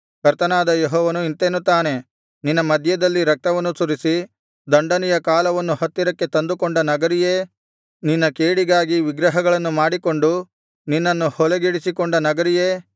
ಕರ್ತನಾದ ಯೆಹೋವನು ಇಂತೆನ್ನುತ್ತಾನೆ ನಿನ್ನ ಮಧ್ಯದಲ್ಲಿ ರಕ್ತವನ್ನು ಸುರಿಸಿ ದಂಡನೆಯ ಕಾಲವನ್ನು ಹತ್ತಿರಕ್ಕೆ ತಂದುಕೊಂಡ ನಗರಿಯೇ ನಿನ್ನ ಕೇಡಿಗಾಗಿ ವಿಗ್ರಹಗಳನ್ನು ಮಾಡಿಕೊಂಡು ನಿನ್ನನ್ನು ಹೊಲೆಗೆಡಿಸಿಕೊಂಡ ನಗರಿಯೇ